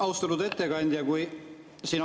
Austatud ettekandja!